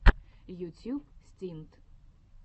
ютьюб стинт